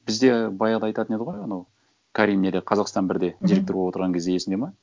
бізде баяғыда айтатын еді ғой анау карим неде қазақстан бірде мхм директор болып отырған кезде есіңде ме